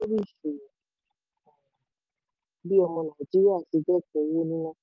bí ọmọ nàìjíríà ti dẹ́kun owó níná.